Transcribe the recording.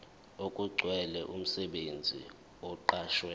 okugcwele umsebenzi oqashwe